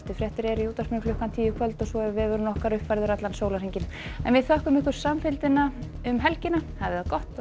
fréttir eru í útvarpi klukkan tíu í kvöld og vefurinn okkar er uppfærður allan sólarhringinn við þökkum ykkur samfylgdina um helgina hafið það gott og